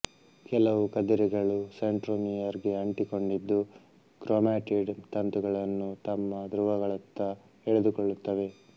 ಕೆಲವು ಕದಿರೆಗಳು ಸೆಂಟ್ರೊಮಿಯರ್ ಗೆ ಅಂಟಿಕೊಂಡಿದ್ದು ಕ್ರೊಮ್ಯಾಟಿಡ್ ತಂತುಗಳನ್ನು ತಮ್ಮ ಧ್ರುವಗಳತ್ತ ಎಳೆದುಕೊಳ್ಳುತ್ತವೆ